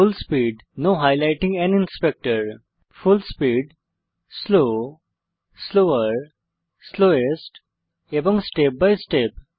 ফুল speed full speed slow slower slowest এবং step by step